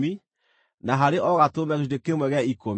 na harĩ o gatũrũme gĩcunjĩ kĩmwe gĩa ikũmi.